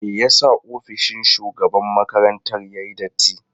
Me yasa ofishin shugaban makarantar yayi datti?